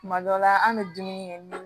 Kuma dɔ la an bɛ dumuni kɛ ni